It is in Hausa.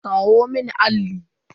Kawo mun allin.